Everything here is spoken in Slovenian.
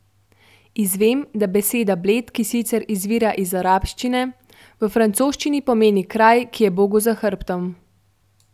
Izvem, da beseda bled, ki sicer izvira iz arabščine, v francoščini pomeni kraj, ki je bogu za hrbtom.